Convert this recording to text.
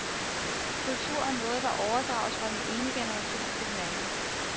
Kultur er noget, der overdrages fra den ene generation til den anden.